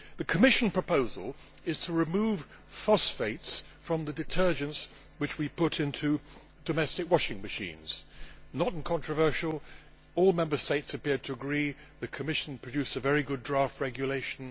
The Commission proposal is to remove phosphates from the detergents which we put into domestic washing machines not controversial, all Member States appear to agree, and the Commission produced a very good draft regulation.